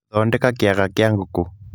Thondeka kĩaga kĩa ngũkũ.